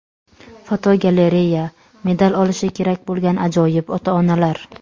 Fotogalereya: Medal olishi kerak bo‘lgan ajoyib ota-onalar.